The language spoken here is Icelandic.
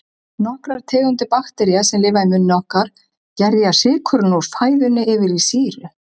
Nokkrar tegundir baktería, sem lifa í munni okkar, gerja sykurinn úr fæðunni yfir í sýru.